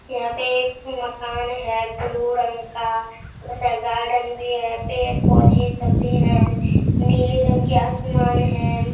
यहाँ पे एक माकन है ब्लू रंग का गार्डेन्ड भी है पेड़-पौधे सब भी हैं नील रंग के आसमान हैं।